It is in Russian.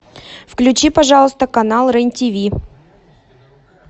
включи пожалуйста канал рен тв